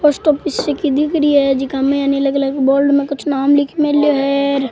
Post office सी क दिख रही है जेका में अलग अलग बोर्ड में कुछ नाम लिख मेल्या है र।